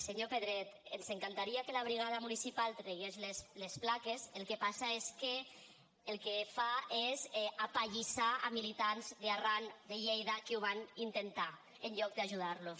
senyor pedret ens encantaria que la brigada municipal tragués les plaques el que passa és que el que fa és apallissar militants d’arran lleida que ho van intentar en lloc d’ajudar los